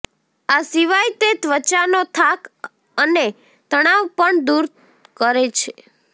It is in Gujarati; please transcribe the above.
આ સિવાય તે ત્વચાનો થાક અને તણાવ પણ દૂર કરે છે